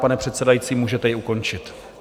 Pane předsedající, můžete ji ukončit.